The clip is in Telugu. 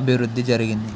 అభివృద్ధి జరిగింది